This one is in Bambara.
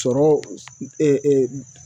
Sɔrɔ